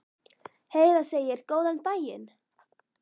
Heiða segir góðan daginn!